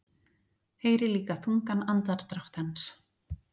Heyri líka þungan andardrátt hans.